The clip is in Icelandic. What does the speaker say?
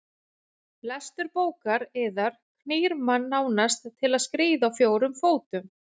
Lestur bókar yðar knýr mann nánast til að skríða á fjórum fótum.